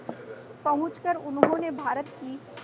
पहुंचकर उन्होंने भारत की